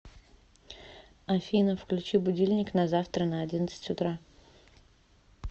афина включи будильник на завтра на одиннадцать утра